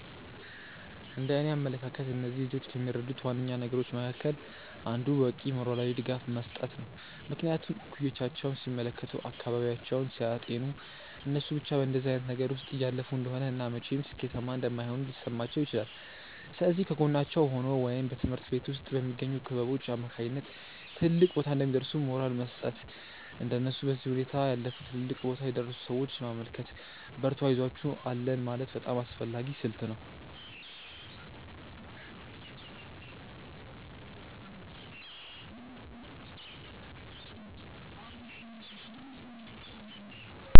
እንደእኔ አመለካከት እነዚህን ልጆች ከሚረዱት ዋነኛ ነገሮች መካከል አንዱ በቂ ሞራላዊ ድጋፍ መስጠት ነው። ምክንያቱም እኩዮቻቸውን ሲመለከቱ፤ አካባቢያቸውን ሲያጤኑ እነሱ ብቻ በእንደዚህ አይነት ነገር ውስጥ እያለፉ እንደሆነ እና መቼም ሥኬታማ እንደማይሆኑ ሊሰማቸው ይችላል። ስለዚህ ከጎናቸው ሆኖ ወይም በትምሀርት ቤት ውስጥ በሚገኙ ክበቦች አማካኝነት ትልቅ ቦታ እንደሚደርሱ ሞራል መስጠት፤ እንደነሱ በዚህ ሁኔታ ያለፉ ትልልቅ ቦታ የደረሱን ሰዎች ማመልከት፤ በርቱ አይዞአችሁ አለን ማለት በጣም አስፈላጊ ስልት ነው።